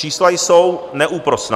Čísla jsou neúprosná.